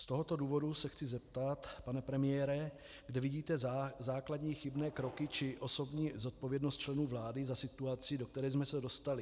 Z tohoto důvodu se chci zeptat, pane premiére, kde vidíte základní chybné kroky či osobní zodpovědnost členů vlády za situaci, do které jsme se dostali.